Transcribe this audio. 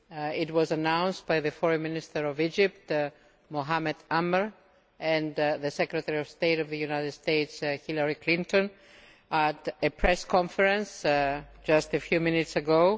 It was announced by the Foreign Minister of Egypt, Mohamed Amr, and the Secretary of State of the United States, Hilary Clinton, at a presss conference just a few minutes ago.